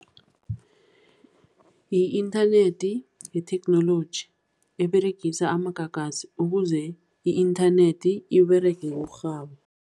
I-inthanethi yitheknoloji eberegiswa amagagasi, ukuze i-inthanethi iberege ngokurhaba.